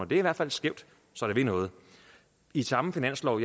det er i hvert fald skævt så det vil noget i samme finanslov